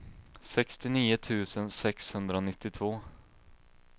sextionio tusen sexhundranittiotvå